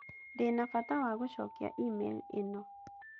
Ndĩ na bata wa gũcokia e-mail ĩno